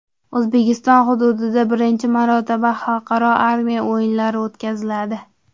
O‘zbekiston hududida birinchi marotaba Xalqaro armiya o‘yinlari o‘tkaziladi.